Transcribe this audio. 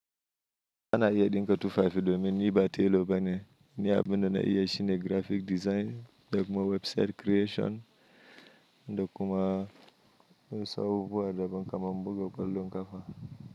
Ana iya ɗinka tufafi domin ni ba tailor ba ne, ni abin da na iya shine graphic design da kuma website creation da kuma wasu abubuwa da ban kaman mbugo kallon kafa.